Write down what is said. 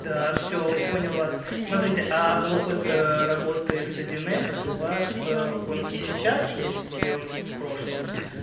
да всё понял вас смотрите а опыт работы с один с у вас он и сейчас есть или он в прошлом